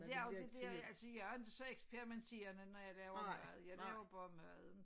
Det også det dér altså jeg er inte så eksperimenterende når jeg laver mad jeg laver bare maden